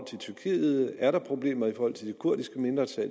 tyrkiet er problemer i forhold til det kurdiske mindretal og